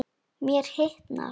Mér hitnar.